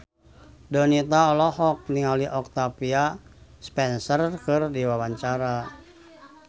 Donita olohok ningali Octavia Spencer keur diwawancara